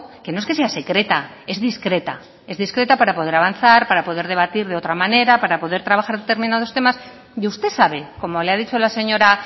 que no es que sea secreta es discreta es discreta para poder avanzar para poder debatir de otra manera para poder trabajar determinados temas y usted sabe como le ha dicho la señora